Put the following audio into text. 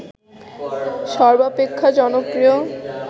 সর্বাপেক্ষা জনপ্রিয়